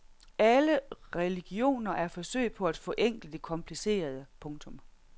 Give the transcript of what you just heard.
Alle religioner er forsøg på at forenkle det komplicerede. punktum